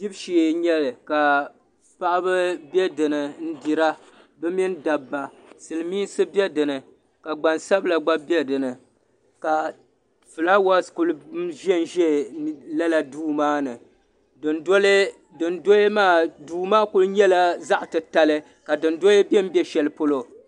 Dibu shee n nyɛli ka paɣaba be dinni n dira bɛ mini dabba silimiinsi be dinni ka gbansabla gba be dinni ka filaawaasi kuli ʒɛnʒɛ duu maa ni duu maa kuli nyɛla zaɣa titali ka dundoya bembe shelipolo.